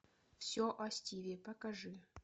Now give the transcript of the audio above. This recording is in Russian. все о стиве покажи